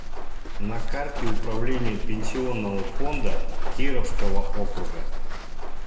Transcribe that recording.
на карте управление пенсионного фонда кировского округа